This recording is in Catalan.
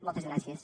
moltes gràcies